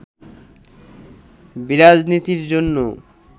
বিরাজনীতির জন্য